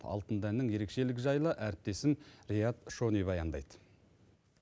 алтын дәннің ерекшелігі жайлы әріптесім риат шони баяндайды